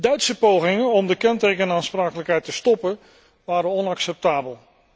Duitse pogingen om de kentekenaansprakelijkheid te stoppen, waren onacceptabel.